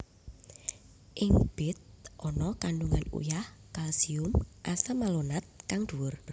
Ing bit ana kandungan uyah kalsium asam malonat kang duwur